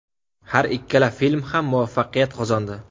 Har ikkala film ham muvaffaqiyat qozondi.